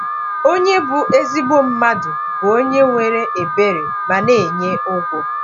“Onye bụ ezigbo mmadụ bụ onye nwere ebere ma na-enye ụgwọ.”